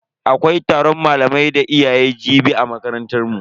Akwai taron malamai da iyaye jibi a makarantar mu.